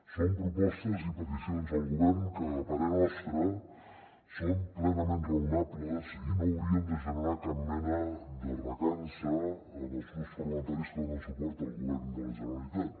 són propostes i peticions al govern que a parer nostre són plenament raonables i no haurien de generar cap mena de recança als grups parlamentaris que donen suport al govern de la generalitat